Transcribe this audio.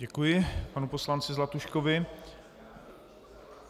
Děkuji panu poslanci Zlatuškovi.